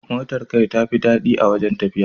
Motar kai tafi daɗi a wajen tafiya.